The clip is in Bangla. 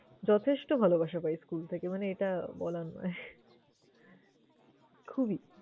যথেষ্ট ভালবাসা পাই school থেকে মানে এটা বলার নয় খুবই।